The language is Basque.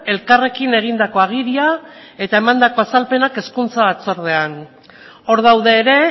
elkarrekin egindako agiria eta emandako azalpenak hezkuntza batzordean hor daude ere